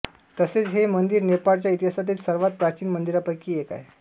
तसेच हे मंदिर नेपाळच्या इतिहासातील सर्वात प्राचीन मंदिरांपैकी एक आहे